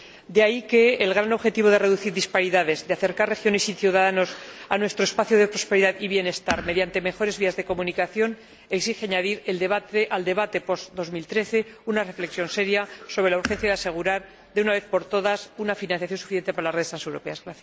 De ahí que el gran objetivo de reducir disparidades, de acercar regiones y ciudadanos a nuestro espacio de prosperidad y bienestar mediante mejores vías de comunicación, exija añadir al debate post 2013 una reflexión seria sobre la urgencia de asegurar de una vez por todas una financiación suficiente para las redes transeuropeas.